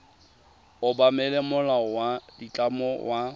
obamela molao wa ditlamo wa